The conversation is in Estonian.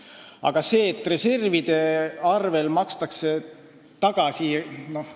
Aga et reservide arvel makstakse tagasi ...